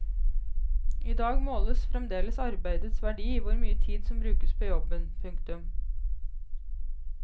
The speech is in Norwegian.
I dag måles fremdeles arbeidets verdi i hvor mye tid som brukes på jobben. punktum